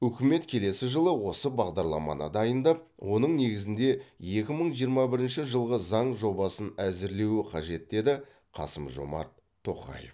үкімет келесі жылы осы бағдарламаны дайындап оның негізінде екі мың жиырма бірінші жылы заң жобасын әзірлеуі қажет деді қасым жомарт тоқаев